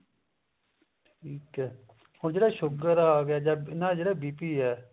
ਠੀਕ ਹੈ ਹੁਣ ਜਿਹੜਾ sugar ਆ ਗਿਆ ਨਾ ਜਿਹੜਾ BP